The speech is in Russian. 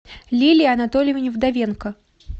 лилии анатольевне вдовенко